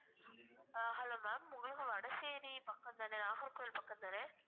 ஆஹ் hello ma'am உங்களுக்கு வடசேரி பக்கம்தானே நாகர்கோவில் பக்கம் தானே